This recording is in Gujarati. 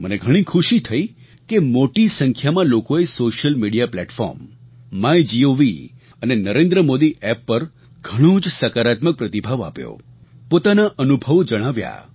મને ઘણી ખુશી થઈ કે મોટી સંખ્યામાં લોકોએ સૉશિયલ મિડિયા પ્લેટફૉર્મ માયગોવ અને નરેન્દ્રમોદી App પર ઘણો જ સકારાત્મક પ્રતિભાવ આપ્યો પોતાના અનુભવો જણાવ્યા